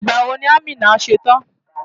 Ìgbà wo ni Amina ṣe tán?